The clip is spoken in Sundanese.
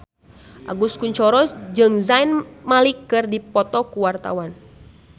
Agus Kuncoro jeung Zayn Malik keur dipoto ku wartawan